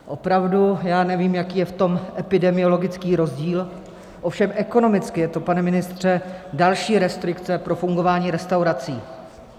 Opravdu, já nevím, jaký je v tom epidemiologický rozdíl, ovšem ekonomicky je to, pane ministře, další restrikce pro fungování restaurací.